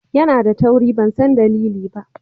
Yana da tauri ban san dalili ba.